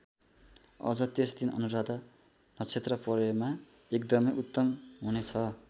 अझ त्यसदिन अनुराधा नक्षेत्र परेमा एकदमै उत्तम हुने छ।